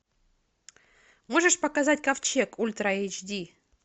можешь показать ковчег ультра эйч ди